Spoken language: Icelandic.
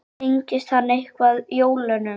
Tengist hann eitthvað jólunum?